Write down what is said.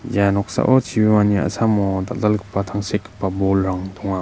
ia noksao chibimani a·samo dal·dalgipa tangsekgipa bolrang donga.